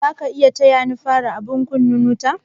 Zaka iya taya ni fara abun kunna wuta?